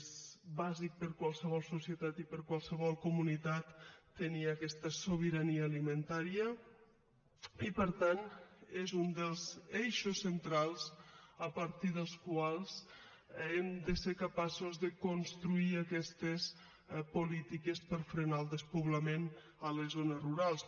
és bàsic per a qualsevol societat i per a qualsevol comunitat tenir aquesta sobirania alimentària i per tant és un dels eixos centrals a partir dels quals hem de ser capaços de construir aquestes polítiques per frenar el despoblament a les zones rurals